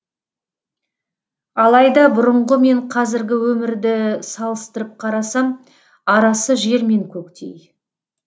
алайда бұрынғы мен қазіргі өмірді салыстырып қарасам арасы жер мен көктей